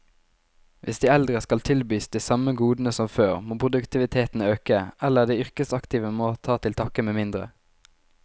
Hvis de eldre skal tilbys de samme godene som før, må produktiviteten øke, eller de yrkesaktive må ta til takke med mindre.